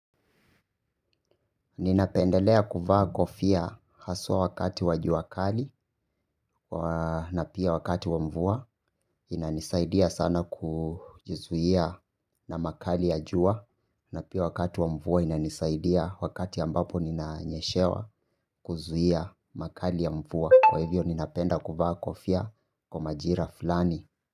Ninapendelea kuvaa kofia haswa wakati wa jua kali na pia wakati wa mvua inanisaidia sana kujizuia na makali ya jua na pia wakati wa mvua inanisaidia wakati ambapo ninayeshewa kuzuia makali ya mvua. Kwa hivyo ninapenda kuvaa kofia kwa majira fulani.